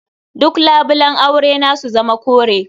Duk labulan aure na su zama kore.